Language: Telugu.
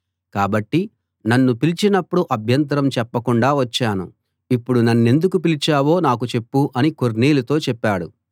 కాబట్టి నన్ను పిలిచినప్పుడు అభ్యంతరం చెప్పకుండా వచ్చాను ఇప్పుడు నన్నెందుకు పిలిపించావో నాకు చెప్పు అని కొర్నేలితో చెప్పాడు